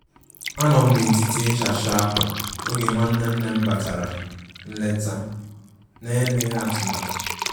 Anọm na etịtị ịsha cha akwà oge nwanne nnem batara nleta na-emeghi atụmatụ.